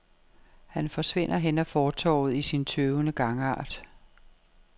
Han forsvinder hen ad fortovet i sin tøvende gangart.